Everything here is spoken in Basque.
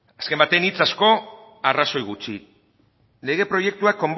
azken baten hitz asko arrazoi gutxi lege proiektuak